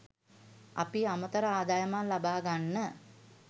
අපි අමතර ආදායමක් ලබා ගන්න